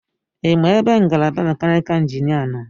Ịma ebe ngalaba mekanikal injiniarin nọ?